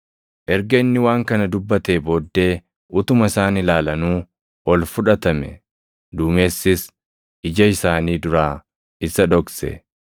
Erga inni waan kana dubbatee booddee utuma isaan ilaalanuu ol fudhatame; duumessis ija isaanii duraa isa dhokse.